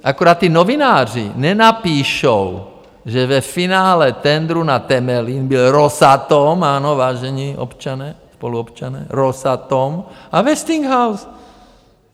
Akorát ti novináři nenapíšou, že ve finále tendru na Temelín byl Rosatom, ano, vážení občané, spoluobčané, Rosatom a Westinghouse.